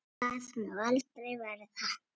Það má aldrei verða.